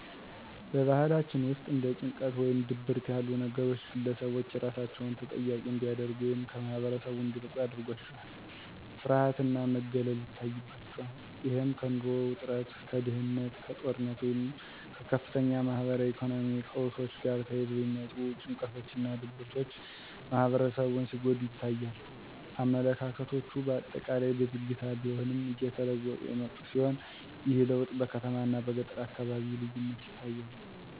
በባህላችን ውስጥ እንደ ጭንቀት ወይም ድብርት ያሉ ነገሮች ግለሰቦች ራሳቸውን ተጠያቂ እንዲያደርጉ ወይም ከማኅበረሰቡ እንዲርቁ ያደርጋቸዋል። * ፍርሃት እና መገለል ይታይባቸዋል። * እሄም፦ ከኑሮ ውጥረት፣ ከድህነት፣ ከጦርነት ወይም ከከፍተኛ ማኅበራዊና ኢኮኖሚያዊ ቀውሶች ጋር ተያይዘው የሚመጡ ጭንቀቶችና ድብርቶች ማህበረሰቡን ሲጎዱ ይታያሉ። *አመለካከቶቹ በአጠቃላይ በዝግታ ቢሆንም እየተለወጡ የመጡ ሲሆን፤ ይህ ለውጥ በከተማና በገጠር አካባቢ ልዩነት ይታያል።